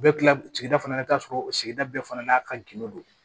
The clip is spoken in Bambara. U bɛ kila sigida fana la i bɛ t'a sɔrɔ o sigida bɛɛ fana n'a ka gindo don